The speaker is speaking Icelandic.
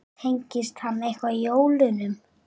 Tengist hann eitthvað jólunum?